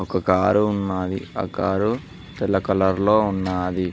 ఒక కారు ఉన్నది ఆ కారు తెల్ల కలర్ లో ఉన్నది.